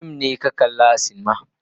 Wane fim ne ka kalli a silima.